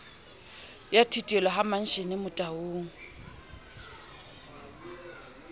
ya thitelo ha mantshele motaung